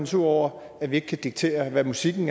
sur over at vi ikke kan diktere hvad musikken